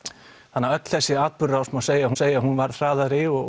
þannig að öll þessi atburðarrás má segja hún segja hún varð hraðari og